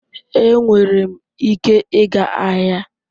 Ee, enwere m ike ịga ahịa.